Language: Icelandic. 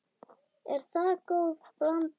Er það góð blanda.